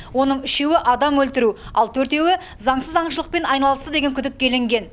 оның үшеуі адам өлтіру ал төртеуі заңсыз аңшылықпен айналысты деген күдікке ілінген